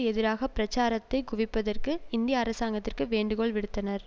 எதிராக பிரச்சாரத்தை குவிப்பதற்கு இந்திய அரசாங்கத்திற்கு வேண்டுகோள் விடுத்தனர்